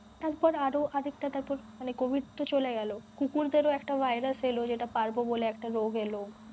তারপর আরও আরেকটা তারপর মানে covid তো চলে গেলো কুকুর দের ও একটা virus ছিল যেটা parbo বলে একটা রোগ এলো